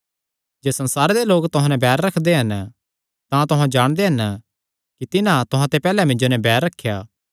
जे संसारे लोक तुहां नैं बैर रखदे हन तां तुहां जाणदे हन कि तिन्हां तुहां ते पैहल्लैं मिन्जो नैं बैर रखेया